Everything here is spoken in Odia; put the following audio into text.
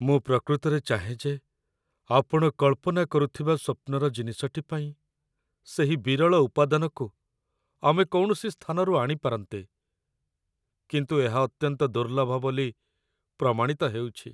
ମୁଁ ପ୍ରକୃତରେ ଚାହେଁ ଯେ ଆପଣ କଳ୍ପନା କରୁଥିବା ସ୍ୱପ୍ନର ଜିନିଷଟି ପାଇଁ ସେହି ବିରଳ ଉପାଦାନକୁ ଆମେ କୌଣସି ସ୍ଥାନରୁ ଆଣିପାରନ୍ତେ, କିନ୍ତୁ ଏହା ଅତ୍ୟନ୍ତ ଦୁର୍ଲ୍ଲଭ ବୋଲି ପ୍ରମାଣିତ ହେଉଛି